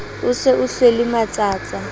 o se o hlwele matsatsa